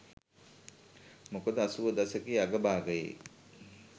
මොකද අසූව දශකයේ අග භාගයේ